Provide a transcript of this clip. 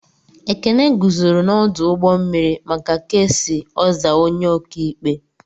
Ekene guzoro n'ọdụ ụgbọ mmiri maka ks ozaa onye ọkaikpe.